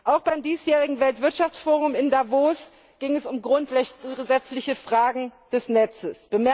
Auch beim diesjährigen Weltwirtschaftsforum in Davos ging es um grundsätzliche Fragen des Netzes.